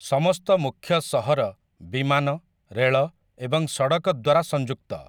ସମସ୍ତ ମୁଖ୍ୟ ସହର ବିମାନ, ରେଳ ଏବଂ ସଡ଼କ ଦ୍ୱାରା ସଂଯୁକ୍ତ ।